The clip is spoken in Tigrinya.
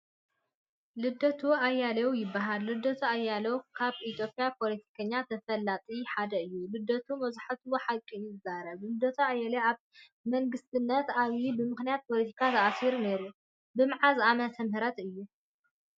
ልደቱ ኣያሌው ይበሃል ልደቱ ኣያላው ካብ ኢትዮጰያ ፖለቲከኛ ተፈላጢ ሓደ እዩ። ልደቱ መብዛሕቲኡ ሓቂ እዩ ዝዛረብ። ልደቱ ኣያሌው ኣብ መንግስትነት ኣብይ ብምክንያት ፖለቲካ ተኣሲኑ ነይሩ ። ብመዓዝ ኣመተምህረት እዩ ?